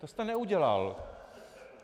To jste neudělal.